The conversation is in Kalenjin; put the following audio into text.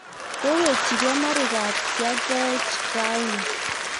kowechigei Marigat ya koech rauni